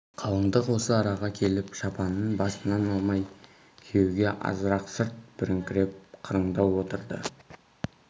қалыңдық осы араға келіп шапанын басынан алмай күйеуге азырақ сырт беріңкіреп қырындау отырды